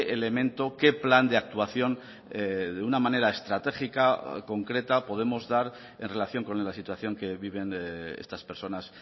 elemento qué plan de actuación de una manera estratégica y concreta podemos dar en relación con la situación que viven estas personas